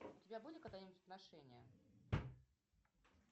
у тебя были когда нибудь отношения